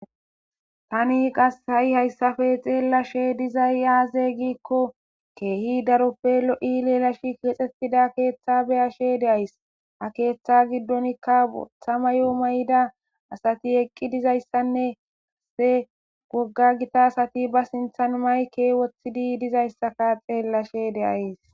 Tani qas ha7i hayssafe xeellashe dizay aaze giikko keehi daroppe lo7i leelashi kexxetida keeththa beyashe deays ha keeththa giddonkka othama yoo may7ida asati eqqi dizayssanne hasse gogga gita asati ba sinthan mayke wothidi dizayssaka xeellashe deays